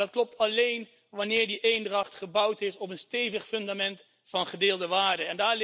Maar dat klopt alleen wanneer die eendracht gebouwd is op een stevig fundament van gedeelde waarden.